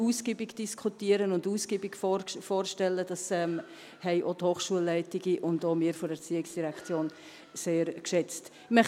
Wir haben die Geschäftsberichte sehr ausgiebig diskutieren und vorstellen können, was die Hochschulleitungen und auch wir von der ERZ sehr geschätzt haben.